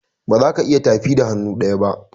bazaka iya tafi da hannu ɗaya ba.